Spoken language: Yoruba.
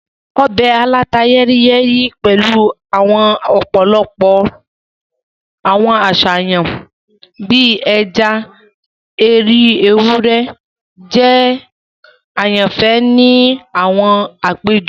Ọbẹ̀ aláta-yẹ́ríyẹ́rí pẹ̀lu ọ̀pọ̀lọpọ̀ àwọn àṣàyàn bii ẹja ati orí ewúrẹ́ jẹ àyànfẹ́ ni àwọn àpéjọpọ̀.